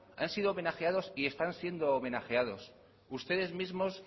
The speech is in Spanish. han sido homenajeados y están siendo homenajeados ustedes mismos